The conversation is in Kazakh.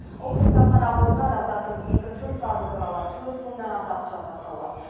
ұлттық кітапхана қорында адамзаттың екінші ұстазы туралы төрт мыңнан аса құжат сақтаулы